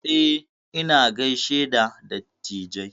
Eh, ina gishe da dattijai.